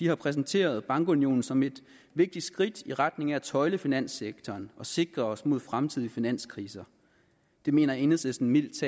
har præsenteret bankunionen som et vigtigt skridt i retning af at tøjle finanssektoren og sikre os mod fremtidige finanskriser det mener enhedslisten mildest